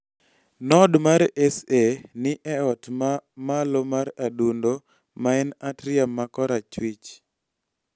Node mar SA ni e ot ma malo mar adundo, ma en atrium ma korachwich (AY-yien-um).